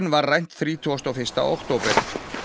var rænt þrítugasta og fyrsta október